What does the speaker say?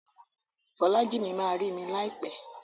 Folájìmí ma rí mi láìpẹ́.